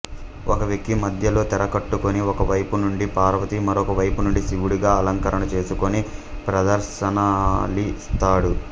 ఒక వ్యక్తి మధ్యలో తెర కట్టుకొని ఒకవైపు నుండి పార్వతి మరోవైపునుండి శివుడుగా అలంకరణ చేసుకొని ప్రదర్శనలిస్తాడు